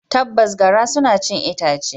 Tabbas, garra suna cin itace.